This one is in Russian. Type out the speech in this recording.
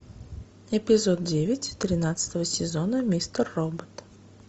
эпизод девять тринадцатого сезона мистер робот